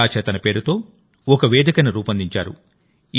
కళా చేతన పేరుతో ఓ వేదికను రూపొందించారు